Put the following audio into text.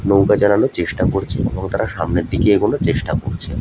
নৌকা চালানোর চেষ্টা করছে এবং তারা সামনের দিকে এগোনোর চেষ্টা করছে।